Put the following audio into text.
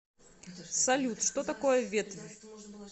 салют что такое ветвь